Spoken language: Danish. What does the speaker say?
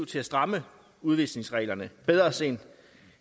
til at stramme udvisningsreglerne bedre sent